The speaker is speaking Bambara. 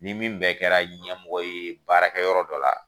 Ni min bɛɛ kɛra ɲɛmɔgɔ ye baarakɛ yɔrɔ dɔ la